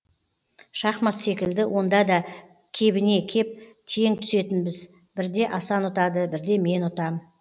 шахмат секілді онда да кебіне кеп тең түсетінбіз бірде асан ұтады бірде мен ұтам